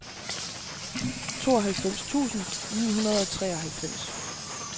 tooghalvfems tusind ni hundrede og treoghalvfems